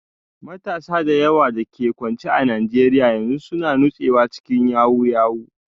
Matasa da yawa da ke kwance a Najeriya yanzu suna nutsewa cikin yahoo yahoo